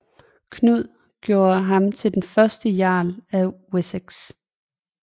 Knud gjorde ham til den første jarl af Wessex